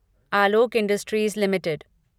Alok industries limited